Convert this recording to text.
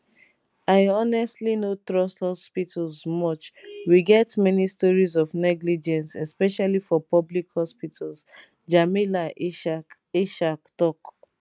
i honestly no trust hospitals much we get many stories of negligence especially for public hospitals jamila ishaq ishaq tok